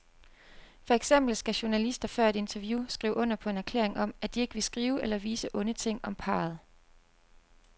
For eksempel skal journalister før et interview skrive under på en erklæring om, at de ikke vil skrive eller vise onde ting om parret.